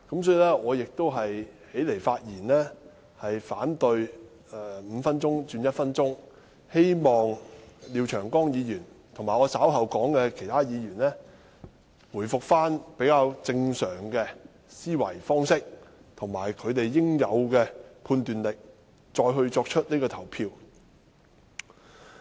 所以，我起來發言反對把點名表決鐘聲由5分鐘縮短至1分鐘，希望廖議員及我稍後提到的其他議員，能恢復比較正常的思維方式及其應有的判斷力再作投票。